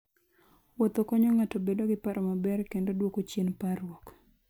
Wuotho konyo ng'ato bedo gi paro maber kendo duoko chien parruok.